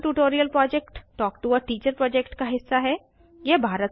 spoken tutorial project talk to a teacher project का हिस्सा है